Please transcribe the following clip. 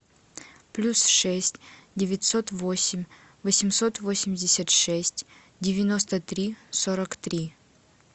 плюс шесть девятьсот восемь восемьсот восемьдесят шесть девяносто три сорок три